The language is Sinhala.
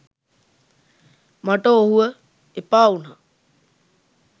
මට ඔහුව එපා උනා.